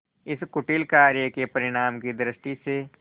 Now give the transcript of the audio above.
इस कुटिल कार्य के परिणाम की दृष्टि से